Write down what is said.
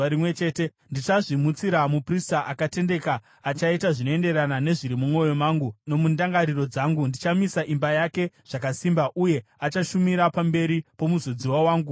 Ndichazvimutsira muprista akatendeka, achaita zvinoenderana nezviri mumwoyo mangu nomundangariro dzangu. Ndichamisa imba yake zvakasimba, uye achashumira pamberi pomuzodziwa wangu nguva dzose.